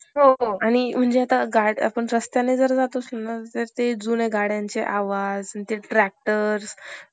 अश~ अं आधीची तीन भावंड अल्पवयातच गेली. त्यामुळे केशवराव कर्व यांनी आपल्या मुलाची अं मुलांची नांव भिकू आणि धोंडू अशी ठेवली.